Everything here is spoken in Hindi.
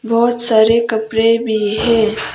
बहोत सारे कपड़े भी है।